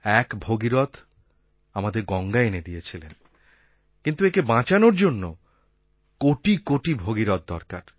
এক ভগীরথ আমাদের গঙ্গা এনে দিয়েছিলেন কিন্তু একে বাঁচানোর জন্য কোটি কোটি ভগীরথ দরকার